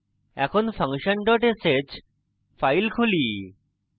এখন function dot sh file খুলি